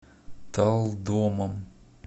талдомом